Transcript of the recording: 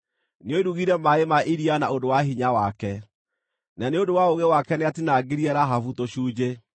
Nĩoirugire maaĩ ma iria na ũndũ wa hinya wake; na nĩ ũndũ wa ũũgĩ wake nĩatinaangirie Rahabu tũcunjĩ.